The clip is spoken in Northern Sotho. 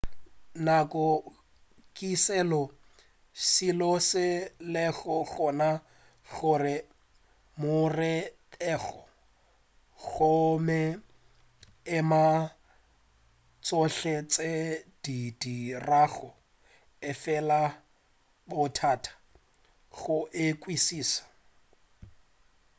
nako ke selo seo se lego gona gohle mo re bego gomme e ama tšhohle tše re di dirago efela e bothata go e kwešiša